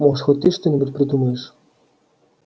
может хоть ты что-нибудь придумаешь